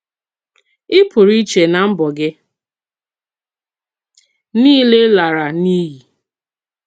Ì pùrù ìchè nà mbọ̀ gị niile làrà n’íyì.